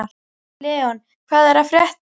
Leon, hvað er að frétta?